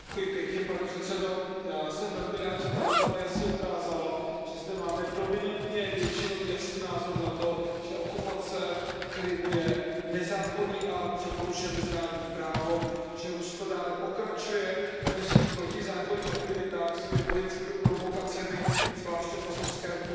Pane předsedající, já jsem velmi rád, že ta debata jasně ukázala, že zde máme dominantně většinový a jasný názor na to, že okupace Krymu je nezákonný akt, že porušuje mezinárodní právo, že Rusko dále pokračuje ve svých protizákonných aktivitách svými vojenskými provokacemi, zvláště v Azovském moři.